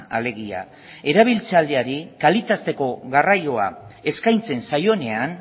alegia erabiltzeari kalitatezkoa garraioa eskaintzen zaionean